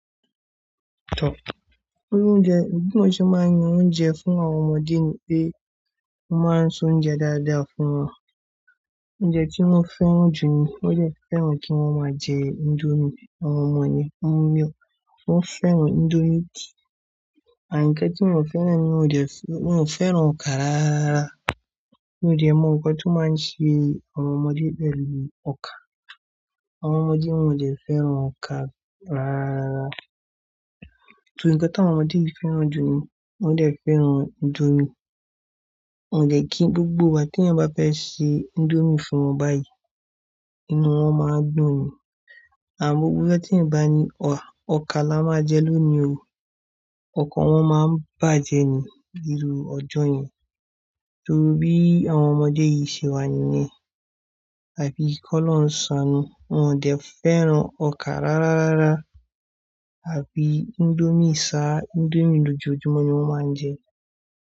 Irú Oúnjẹ, bí mo ṣe máa ń yan oúnjẹ fún àwọn ọmọdé ni pé mo máa ń se oúnjẹ dáadáa fún wọn. Oúnjẹ tí wọ́n fẹ́ràn jù ni wọ́n dẹ̀ fẹ́ràn kí wọ́n máa jẹ indomie. Àwọn ọmọ yen,--- wọ́n fẹ́ràn indomie. Àmọ́ nkán tí mo fẹ́ràn. Ni mi ò fẹ́ràn ọkà rárára. Mi ò de mọ nkan tí ó máa ń ṣe àwọn ọmọdé pẹ̀lú ọkà. Àwọn ọmọdé wọn de fẹ́ràn ọkà rárára. Torí nkán tí àwọn ọmọdé yìí fẹ́ràn jù ni wọ́n dẹ̀ fẹ́ràn indomie. Wọ́n dẹ̀ kí gbogbo ìgbà tí eyan bá fẹ́ ṣe indomie fún wọn báyìí, inú wọn máa dun ni. Àmọ́ gbogbo ọjọ́ tí ẹ̀yán bá ní, "Ọkà la máa jẹ lónìí o." Ọ̀kọ̀ọ̀ wọn máa bàjẹ́ ni níru ọjọ́ yẹn. Torí bí àwọn ọmọdé yìí ṣe wà nìyẹn. Àbí kí Olorun sanù, wọn ò fẹ́ràn ọkà rárára àfí indomie sá, indomie lójoojúmọ́ ni wọ́n máa ń jẹ.